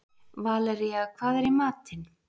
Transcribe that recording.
Valería, hvað er í matinn?